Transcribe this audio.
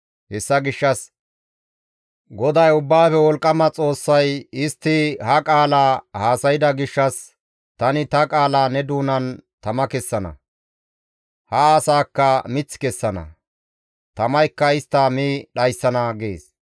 Hessa gishshas GODAY Ubbaafe Wolqqama Xoossay, «Istti ha qaala haasayda gishshas tani ta qaala ne doonan tama kessana. Ha asaakka mith kessana; tamaykka istta mi dhayssana» gees.